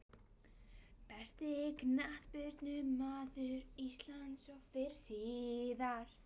Besti knattspyrnumaður íslands fyrr og síðar?